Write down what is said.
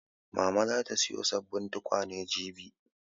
Mama za ta sayo sabbin tukwane jibi